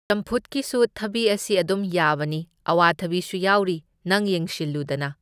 ꯆꯝꯐꯨꯠꯀꯤꯁꯨ ꯊꯕꯤ ꯑꯁꯤ ꯑꯗꯨꯝ ꯌꯥꯕꯅꯤ, ꯑꯋꯥꯊꯕꯤꯁꯨ ꯌꯥꯎꯔꯤ, ꯅꯪ ꯌꯦꯡꯁꯤꯟꯂꯨꯗꯅꯥ!